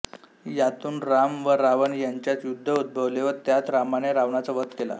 यातून राम व रावण यांच्यात युद्ध उद्भवले व त्यात रामाने रावणाचा वध केला